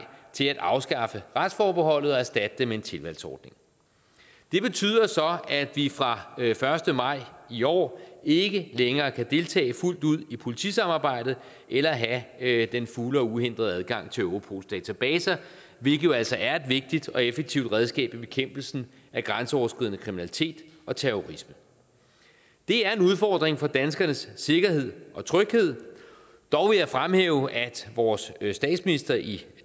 til at afskaffe retsforbeholdet og erstatte det med en tilvalgsordning det betyder så at vi fra første maj i år ikke længere kan deltage fuldt ud i politisamarbejdet eller have have den fulde og uhindrede adgang til europols databaser hvilket jo altså er et vigtigt og effektivt redskab i bekæmpelsen af grænseoverskridende kriminalitet og terrorisme det er en udfordring for danskernes sikkerhed og tryghed dog vil jeg fremhæve at vores statsminister i